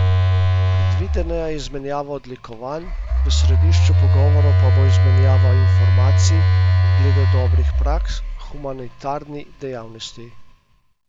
Predvidena je izmenjava odlikovanj, v središču pogovorov pa bo izmenjava informacij glede dobrih praks v humanitarni dejavnosti.